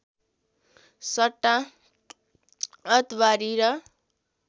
सट्टा अतवारी र